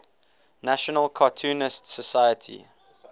national cartoonists society